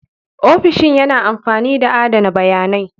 Ofishin yana amfani da adana bayanai.